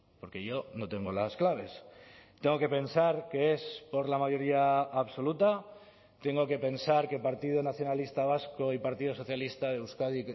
porque yo no tengo las claves tengo que pensar que es por la mayoría absoluta tengo que pensar que el partido nacionalista vasco y partido socialista de euskadi